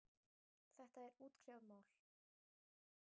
Þetta er útkljáð mál.